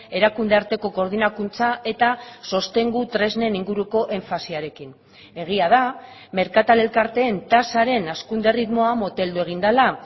erakunde arteko koordinakuntza eta sostengu tresnen inguruko enfasiarekin egia da merkatal elkarteen tasaren hazkunde erritmoa moteldu egin dela